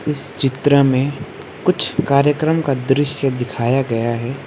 इस चित्र में कुछ कार्यक्रम का दृश्य दिखाया गया है।